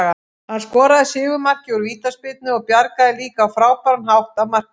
Hann skoraði sigurmarkið úr vítaspyrnu og bjargaði líka á frábæran hátt af marklínu.